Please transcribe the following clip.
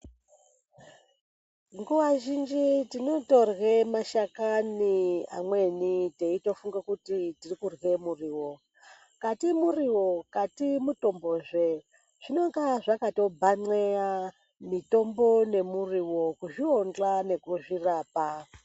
Nguva zhinji tinotodya mashakani anweni teifunga kuti tiri kurwe muriwo kati muriwo lati mutombo zve zvinenge zvakatobhanxeya mutombo nemuriwo kuzvionxa nekuzvirapa.